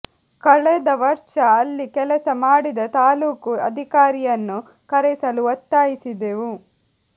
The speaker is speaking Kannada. ಕಳೆದ ವರ್ಷ ಅಲ್ಲಿ ಕೆಲಸ ಮಾಡಿದ ತಾಲ್ಲೂಕು ಅಧಿಕಾರಿಯನ್ನು ಕರೆಸಲು ಒತ್ತಾಯಿಸಿದೆವು